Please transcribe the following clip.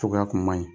Cogoya kun man ɲi